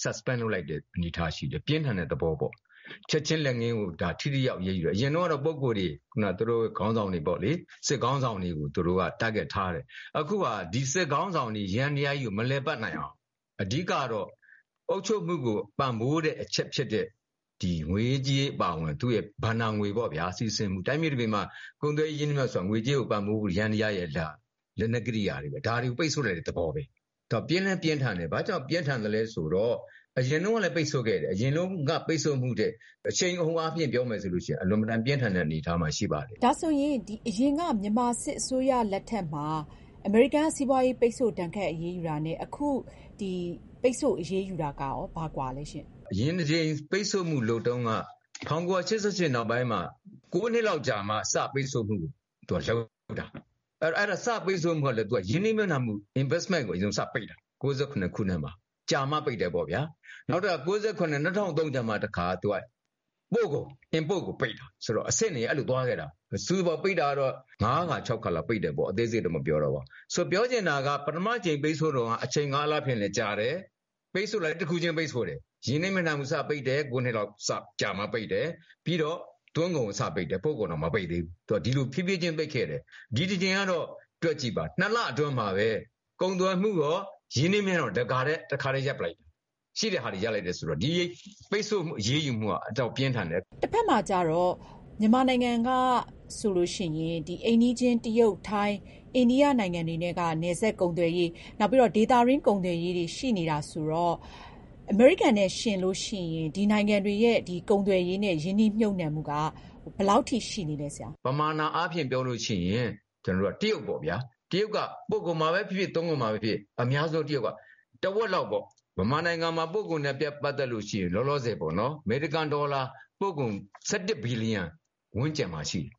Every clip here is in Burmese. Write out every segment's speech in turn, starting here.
suspend လုပ်လိုက်တဲ့ အနေအထားရှိတယ်။ ပြင်းထန်တဲ့သဘောပေါ့။ ချက်ချင်းလက်ငင်းကို ထိထိရောက်ရောက်အရေးယူတာ ။ အရင်တုန်းကတော့ ပုဂ္ဂိုလ်တွေ သူတို့ခေါင်းဆောင်တွေပေါ့လေ စစ်ခေါင်းဆောင်တွေကို သူတို့က Target ထားတယ်။ အခုက ဒီစစ်ခေါင်းဆောင်တွေ ယန္တရားကြီးကို မလည်ပတ်နိုင်အောင် အဓိကတော့ အုပ်ချုပ်မှုကို ပံ့ပိုးတဲ့အချက်ဖြစ်တဲ့ ငွေရေးကြေးရေးအပါအဝင် သူ့ရဲ့ ဘဏ္ဍာငွေစီးဆင်းမှု။ တိုင်းပြည်တပြည်မှာ ကုန်သွယ်ရေးနဲ့ ရင်းနှီးမြှုပ်နှံမှုဆိုတာ ငွေကြေးကို ပံ့ပိုးမှု ယန္တရားကြီးရဲ့ လက်နက်ကရိယာတွေပဲ ဒါကို ပိတ်ဆို့လိုက်တဲ့သဘောပဲ။ သူက ပြင်းလည်းပြင်းထန်တယ်။ ဘာကြောင့်ပြင်းထန်သလဲဆိုတော့ အရင်တုန်းကလည်း ပိတ်ဆို့ခဲ့တယ် အရင်တုန်းကလည်း ပိတ်ဆို့မှုထက် အရှိန်အဟုန်မြှင့်ပြီးတော့ ပြောမယ်ဆိုရင် အလွန် အင်မတန် ပြင်းထန်တဲ့အနေအထားမှာ ရှိပါတယ်။ ဒါဆိုရင် အရင်က မြန်မာစစ်အစိုးရလက်ထက်မှာ အမေရိကန်က စီးပွားရေး ပိတ်ဆို့ ဒဏ်ခတ်အရေးယူတာနဲ့ အခုဒီ ပိတ်ဆို့အရေးယူတာက ဘာကွာသလဲရှင့်။ အရင် ပိတ်ဆို့မှုလုပ်တုန်းက ၁၉၈၈ နောက်ပိုင်းမှာ ၉ နှစ်လောက်ကြာမှာ စပြီး ပိတ်ဆို့မှုလုပ်တာ ။ စပြီး ပိတ်ဆို့တာကလည်း ရင်းနှီးမြှုပ်နှံမှု Investment ကိုစပြီး ပိတ်တာ ၁၉၉၇ ခုနှစ်မှာ ကြာမှာ ပိတ်တယ်ပေါ့ဗျာ။ နောက် ၂၀၀၃ ကျမှ ပို့ကုန် Import ကို ပိတ်တာ ဆိုတော့ အဆင့်တွေ အဲလိုသွားခဲ့တာ။ စုစုပေါင်း ပိတ်တာကတော့ ၅ ခါ ၆ ခါလောက်ပိတ်တယ်ပေါ့။ ဆိုတော့ ပြောချင်တာက ပထမအကြိမ်ပိတ်ဆို့တုန်းက အချိန်အားဖြင့်လည်း ကြာတယ်၊ ပိတ်ဆို့တာကလည်း တခုချင်း ပိတ်ဆို့တယ်။ ရင်းနှီးမြှုပ်နှံမှုစပိတ်တယ် ၉ နှစ်လောက်ကြာမှာ စပိတ်တယ်။ ပြီးတော့ သွင်းကုန် စပိတ်တယ်။ ပို့ကုန်တော့ မပိတ်သေးဘူး သူက ဒီလို ဖြေးဖြေးချင်း ပိတ်ခဲ့တယ်။ ဒီတကြိမ်ကတော့ တွက်ကြည့်ပါ ၂ လအတွင်းမှာပဲ ကုန်သွယ်မှုရော ရင်းနှီးမြှုပ်နှံမှုရော တခါတည်း ရပ်လိုက်တယ် ရှိတာတွေ ရပ်လိုက်တယ်ဆိုတော့ ဒီပိတ်ဆို့ အရေးယူမှုက အတော်ပြင်းထန်တယ်။ တဖက်မှာ ကျတော့ မြန်မာနိုင်ငံကဆိုရင် အိမ်နီးချင်း ၊ တရုတ် ၊ ထိုင်း၊ အိန္ဒိယနိုင်ငံတွေက နယ်စပ်ကုန်သွယ်ရေး နောက်ပြီးတော့ ဒေသတွင်း ကုန်သွယ်ရေးတွေ ရှိနေတာဆိုတော့ အမေရိကန်နဲ့ ယှဉ်ရင် ဒီနိုင်ငံတွေရဲ့ ကုန်သွယ်ရေးနဲ့ ရင်းနှီးမြှုပ်နှံမှုက ဘယ်လောက်အထိ ရှိနေသလဲဆရာ။ ပမာဏအားဖြင့် ပြောရင် တရုတ်ပေ့ါဗျာ ။ တရုတ်က ပို့ကုန်မှာပဲဖြစ်ဖြစ် သွင်းကုန်မှာပဲဖြစ်ဖြစ် အများဆုံးတရုတ်က တဝက်လောက်ပေါ့ မြန်မာနိုင်ငံမှာ ပို့ကုန်နဲ့ ပတ်သက်ရင် အမေရိကန်ဒေါ်လာ ပို့ကုန် ၁၁ ဘီလီယံ ဝန်းကျင်မှာရှိတယ်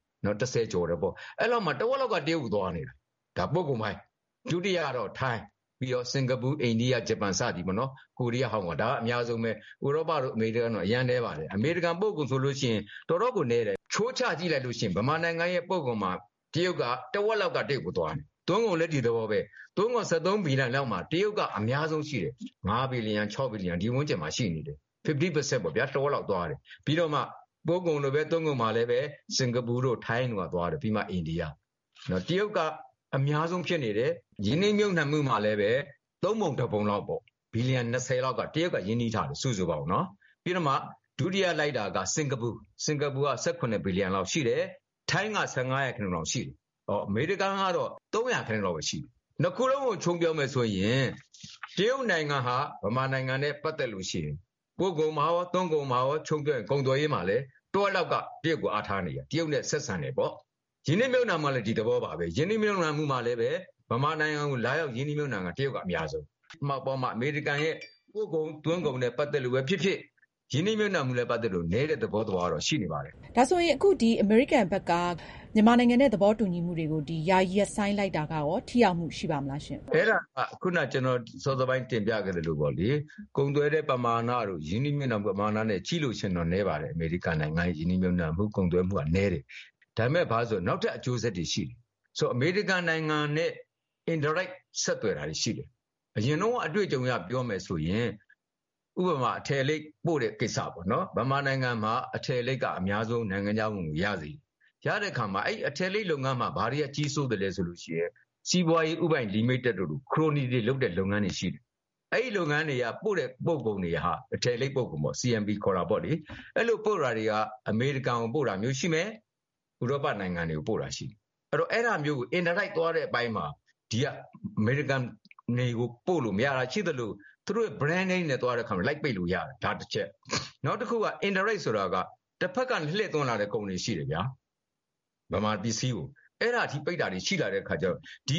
၁၀ ကျော်တယ်ပေါ့။ အဲဒီလောက်မှာ တဝက်လောက်က တရုတ်ကို သွားနေတာ ဒါက ပို့ကုန်ပိုင်း။ ဒုတိယတော့ ထိုင်း ၊ ပြီးတော့ စင်္ကာပူ၊ အိန္ဒိယ၊ ဂျပန် စသည်ပေါ့နော် ကိုရီးယား၊ ဟောင်ကောင် ပေါ့။ ဒါတွေက အများဆုံးပဲ ဥရောပတို့ အမေရိကန်တို့ကတော့ အရမ်းနည်းပါတယ်။ အမေရိကန် ပို့ကုန်ဆိုရင် တော်တော်ကို နည်းတယ်။ အချိုးချကြည့်ရင် မြန်မာနိုင်ငံရဲ့ ပို့ကုန်မှာ တဝက်လောက်ကတော့ တရုတ်ကို သွားတယ်။ သွင်းကုန်လည်း ဒီသဘောပဲ သွင်းကုန် ၁၃ ဘီလီယံ လောက်မှာ တရုတ်က အများဆုံးရှိတယ် ၅ဘီလီယံ ၆ဘီလီယံ ဒီဝန်းကျင်မှာ ရှိနေတယ်။ ၅၀ ရာခိုင်နှုန်းပေါ့ဗျာ တဝက်လောက်သွားတယ် ပြီးတော့မှ စင်္ကာပူတို့ ထိုင်းတို့ သွားတယ် ပြီးမှ အိန္ဒိယ ။ ဆိုတော့ တရုတ်က အများဆုံးဖြစ်နေတယ် ။ ရင်းနှီးမြှုပ်နှံမှုမှာလည်း ၃ ပုံ ၁ ပုံလောက်ပေါ့ ၂၀ ဘီလီယံ လောက်က တရုတ်က ရင်းနှီးထားတယ် စုစုပေါင်း ။ ပြီးတော့မှ ဒုတိယ လိုက်တာက စင်္ကာပူ ၁၇ ဘီလီယံ လောက်ရှိတယ်။ ထိုင်းက ၁၅ လောက်ရှိတယ်။ အမေရိကန်ကတော့ ၃ ရာခိုင်နှုန်းလောက်ပဲ ရှိတယ်။ ၂ ခုလုံးကို ခြုံပြောမယ်ဆိုရင် တရုတ်နိုင်ငံဟာ မြန်မာနိုင်ငံနဲ့ ပတ်သက်ရင် ပို့ကုန်မှာရော သွင်းကုန်မှာရော ခြုံပြောမယ်ဆိုရင် တဝက်လောက်က တရုတ် ကိုအားထားနေရတာ တရုတ်ကို ဆက်ဆံတယ်ပေါ့ ။ ရင်းနှီးမြှုပ်နှံမှုကလည်း ဒီသဘောပါပဲ ရင်းနှီးမြှုပ်နှံတာမှာလည်း မြန်မာနိုင်ငံကို လာရောက် ရင်းနှီးမြှုပ်နှံတာက တရုတ်က အများဆုံးပဲ။ အမေရိကန်ရဲ့ ပို့ကုန်သွင်းကုန်နဲ့ ပတ်သက်လို့ပဲ ဖြစ်ဖြစ်၊ ရင်းနှီးမြှုပ်နှံမှုနဲ့ ပတ်သက်လို့ပဲဖြစ်ဖြစ် နည်းတဲ့ သဘောတော့ ရှိနေပါတယ်။ ဒါဆိုရင် အခု အမေရိကန်ဘက်က မြန်မာနဲ့ သဘောတူညီမှုတွေကို ယာယီ ရပ်ဆိုင်းလိုက်တာကရော ထိရောက်မှု ရှိပါမလားရှင့်။ အဲဒါက စောစောက ကျနော်တင်ပြခဲ့သလိုပေါ့လေ ကုန်သွယ်တဲ့ ပမာဏတို့ ရင်းနှီးမြှုပ်နှံမှုတို့နဲ့ ကြည့်ရင်တော့ တော်တော်နည်းပါတယ်။ အမေရိကန်ရဲ့ ရင်းနှီးမြှုပ်နှံမှုနဲ့ ကုန်သွယ်မှုက နည်းတယ် ။ ဒါပေမယ့် ဘာတွေလဲဆိုတော့ နောက်ထပ် အကျိုးဆက်တွေ ရှိတယ်။ ဆိုတော့ အမေရိကန်နိုင်ငံနဲ့ Indirect ဆက်သွယ်တာတွေရှိတယ်။ အရင်တုန်းက အတွေ့အကြုံအရ ပြောမယ်ဆိုရင် ဥပမာ အထည်လိပ် ပို့တဲ့ ကိစ္စပေါ့နော်။ မြန်မာနိုင်ငံမှာ အများဆုံး အထည်လိပ်က နိုင်ငံခြားဝင်ငွေ ရစေတယ်။ ရတဲ့အခါမှာ အဲဒီ အထည်လိပ် လုပ်ငန်းမှာ ဘာတွေက ကြီးစိုးသလဲဆိုရင် စီးပွားရေး ဦးပိုင်လိမိတက်တို့လို ခရိုနီတွေ လုပ်တဲ့ လုပ်ငန်းတွေရှိတယ်။ အဲဒီလုပ်ငန်းတွေက ပို့တဲ့ ပို့ကုန်တွေဟာ အထည်လိပ် ပို့ကုန်တွေပေါ့ ။ အဲဒီလိုပို့တာတွေက အမေရိကန်ကို ပို့တာမျိုးရှိမယ် ၊ ဥရောပနိုင်ငံတွေကို ပို့တာရှိမယ်။ အဲဒီတော့ အဲဒါမျိုးကို Indirect သွားတဲ့အပိုင်းမှာ ဒီက အမေရိကန်ကို ပို့လို့ မရတာရှိသလို သူတို့ Brand name တွေနဲ့ သွားတဲ့အခါမှာ လိုက်ပိတ်လို့ရတယ် ဒါတချက် ။ နောက်တခုက Indirect ဆိုတာက တဖက်က လှည့်သွင်းလာတဲ့ ကုန်တွေရှိတယ်ဗျာ မြန်မာပစ္စည်းကို အဲဒီအထိ ပိတ်လာတာတွေရှိတဲ့ အခါကျတော့ ဒီ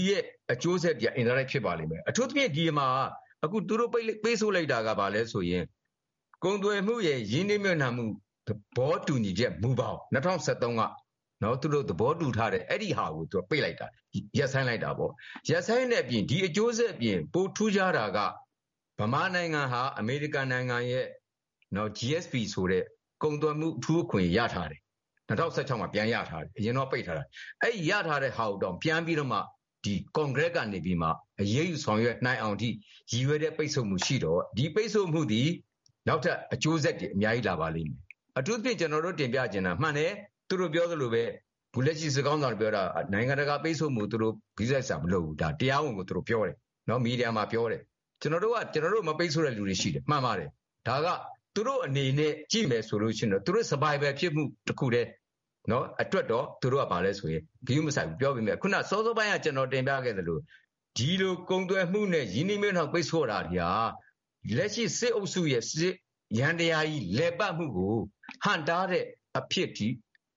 အကျိုးဆက်တွေက Indirect ဖြစ်ပါလိမ့်မယ်။ အခုအထိ ဒီမှာ သူတို့ ပိတ်ဆို့လိုက်တာက ဘာလဲဆိုရင် ကုန်သွယ်မှုရယ် ရင်းနှီးမြှုပ်နှံမှု သဘောတူညီချက် မူဘောင် ၂၀၁၃ က သူတို့ သဘောတူထားတာကို သူက ပိတ်လိုက်တာ ရပ်ဆိုင်းလိုက်တာပေါ့။ ရပ်ဆိုင်းတဲ့အပြင် ပိုထူးခြားတာက မြန်မာနိုင်ငံဟာ အမေရိကန်နိုင်ငံရဲ့ GSP ဆိုတဲ့ ကုန်သွယ်မှု အထူးအခွင့်အရေး ၂၀၁၆ မှာ ပြန်ရထားတယ်။ အရင်တုန်းက ပိတ်ထားတာ။ အဲဒီ ရထားတာကို ပြန်ပြီးတော့မှ ကွန်ဂရက်ကနေပြီးတော့ အရေးယူ ဆောင်ရွက်နိုင်အောင်အထိ ရည်ရွယ်တဲ့ ပိတ်ဆို့မှု ရှိတော့ ဒီပိတ်ဆို့မှုသည် နောက်ထပ် အကျိုးဆက် အများကြီး လာပါလိမ့်မယ်။ အထူးသဖြင့် ကျနော်တို့ တင်ပြချင်တာက မှန်တယ် သူတို့ပြောသလိုပဲ အခုလက်ရှိ စစ်ခေါင်းဆောင်တွေ ပြောတာက နိုင်ငံတကာပိတ်ဆို့မှုကို ဂရုစိုက်စရာမလိုဘူး တရားဝင် မီဒီယာမှာ ပြောတယ် ။ “ကျနော်တို့က ကျနော်တု့ိကို မပိတ်ဆို့တဲ့လူတွေရှိတယ်” မှန်ပါတယ်။ ဒါက သူတို့ အနေနဲ့ ကြည့်မယ်ဆိုရင် သူတို့ Survival ဖြစ်မှုအတွက်တခုတည်း သူတို့က ဂရုမစိုက်ဘူး။ ခုန စောစောပိုင်းက ကျနော်တင်ပြခဲ့သလို ဒီလို ကုန်သွယ်မှုနဲ့ ရင်းနှီးမြုပ်နှံမှု ပိတ်ဆို့တာက လက်ရှိ စစ်အုပ်စုရဲ့ စစ်ယန္တရားကြီး လည်ပတ်မှုကို ဟန့်တားတဲ့ အဖြစ်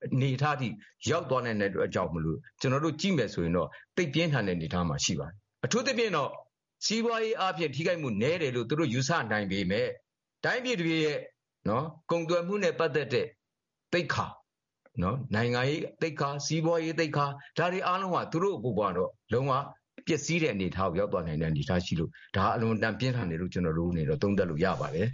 အနေအထားအထိ ရောက်သွားနိုင်တဲ့ အတွက်ကြောင့်မို့ ကျနော်တို့ ကြည့်မယ်ဆိုရင်တော့ သိပ်ပြင်းထန်တဲ့ အနေအထားမှာ ရှိပါတယ်။ အထူးသဖြင့်တော့ စီးပွားရေး ထိခိုက်မှု နည်းတယ်လို့ သူတို့ယူဆနိုင်ပေမယ့် တိုင်းပြည်တပြည်ရဲ့ ကုန်သွယ်မှုနဲ့ ပတ်သက်တဲ့ သိက္ခာ၊ နိုင်ငံရေး သိက္ခာ၊ စီးပွားရေး သိက္ခာ တွေအားလုံးကတော့ ပျက်စီးတဲ့အနေအထား ရောက်သွားနိုင်တဲ့ အနေအထားရှိလို့ ဒါက အလွန်အတန် ပြင်းထန်တယ်လို့ ကျနော်တို့ အနေနဲ့ သုံးသပ်လို့ ရပါတယ်